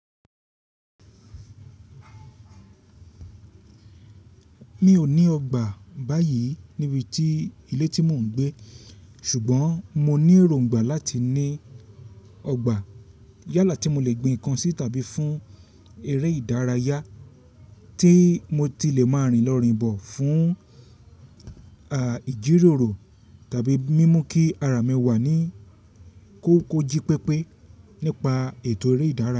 Mi ò ní ọgbà báyìí níbi ti ilé tí mò ń gbé, ṣùgbọ́n mo ní èròǹgbà láti ní ọgbà yálà tí mo lè gbin ǹkan sí tàbí fún eré ìdárayá tí mo ti lè máa rìn lọ́rin bọ̀ fún à ìjíròrò tàbí mímú kí ara mi wà ní kókó jí pépé nípa ètò eré ìdárayá.